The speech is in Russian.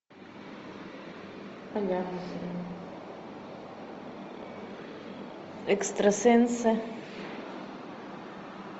экстрасенсы